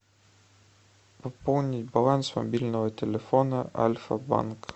пополнить баланс мобильного телефона альфа банк